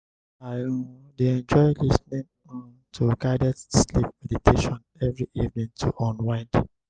i um dey enjoy lis ten ing um to guided sleep meditation every evening to unwind.